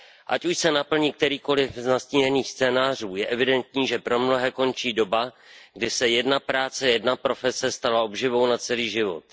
Ať už se naplní kterýkoli z nastíněných scénářů, je evidentní, že pro mnohé končí doba, kdy se jedna práce, jedna profese, stala obživou na celý život.